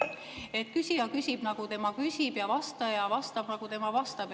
Et küsija küsib, nagu tema küsib, ja vastaja vastab, nagu tema vastab.